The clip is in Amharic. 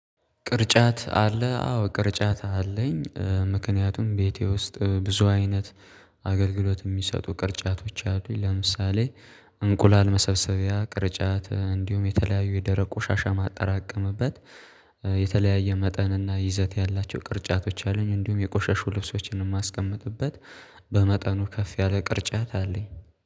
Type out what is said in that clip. ቅርጫት አለ አዎ ቅርጫት አለኝ ምክንያቱም ቤቴ ውስጥ ብዙ አይነት አገልግሎት የሚሰጡ ቅርጫቶች አሉኝ። ለምሳሌ እንቁላል መሰብሰቢያ ቅርጫት እንዲሁም የተለያዩ የደረቅ ቆሻሻ የማጠራቀምበት የተለያየ መጠንና ይዘት ያላቸው ቅርጫቶች አሉኝ። እንዲሁም የቆሸሹ ልብሶችን የማስቀምጥበት በመጠኑ ከፍ ያለ ቅርጫት አለኝ